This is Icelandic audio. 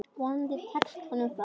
Vonandi tekst honum það.